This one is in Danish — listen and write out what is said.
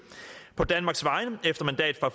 på danmarks vegne efter mandat fra